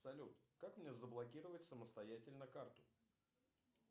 салют как мне заблокировать самостоятельно карту